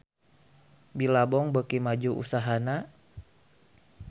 Billabong beuki maju usahana